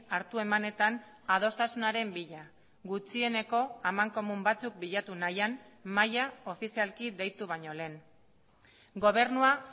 hartu emanetan adostasunaren bila gutxieneko amankomun batzuk bilatu nahian mahaia ofizialki deitu baino lehen gobernua